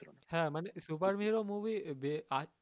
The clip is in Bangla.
হ্যাঁ মানে super hero movie আছে,